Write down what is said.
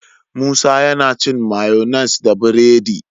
Musa yAna cin mayonnaise da buredi